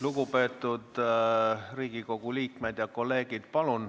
Lugupeetud Riigikogu liikmed ja kolleegid!